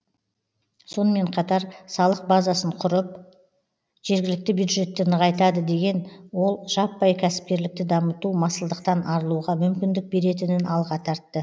сонымен қатар салық базасын құрып жергілікті бюджетті нығайтады деген ол жаппай кәсіпкерлікті дамыту масылдықтан арылуға мүмкіндік беретінін алға тартты